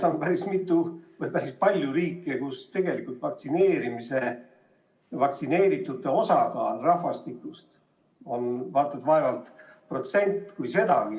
Ma vaatan, et on päris palju riike, kus vaktsineeritute osakaal rahvastikust on vaevalt 1%, kui sedagi.